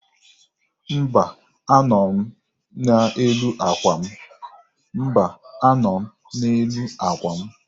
Mba, anọ m n'elu àkwà m.